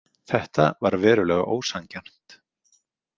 Þetta var verulega ósanngjarnt.